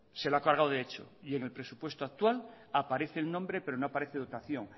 se lo ha cargado de hecho y en el presupuesto actual aparece el nombre pero no aparece dotación